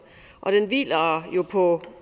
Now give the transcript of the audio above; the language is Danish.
og den hviler jo på